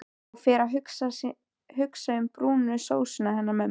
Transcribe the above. Og fer að hugsa um brúnu sósuna hennar mömmu.